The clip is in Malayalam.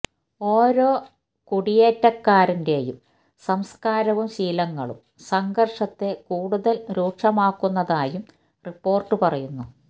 ഓരോ കുടിയേറ്റക്കാരന്റെയും സംസ്കാരവും ശീലങ്ങളും സംഘര്ഷത്തെ കൂടുതല് രൂക്ഷമാക്കുന്നതായും റിപ്പോര്ട്ട് പറയുന്നു